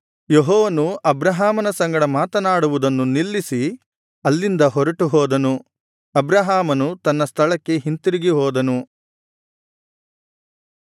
ಯೆಹೋವನು ಅಬ್ರಹಾಮನ ಸಂಗಡ ಮಾತನಾಡುವುದನ್ನು ನಿಲ್ಲಿಸಿ ಅಲ್ಲಿಂದ ಹೊರಟು ಹೋದನು ಅಬ್ರಹಾಮನು ತನ್ನ ಸ್ಥಳಕ್ಕೆ ಹಿಂದಿರುಗಿ ಹೋದನು